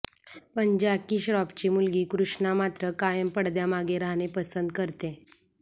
पण जॅकी श्रॉफची मुलगी कृष्णा मात्र कायम पडद्यामागे राहणे पसंत करते